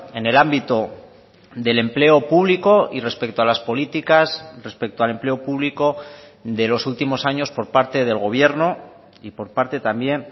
en el ámbito del empleo público y respecto a las políticas respecto al empleo público de los últimos años por parte del gobierno y por parte también